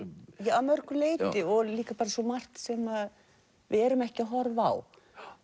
að mörgu leyti og líka svo margt sem við erum ekki að horfa á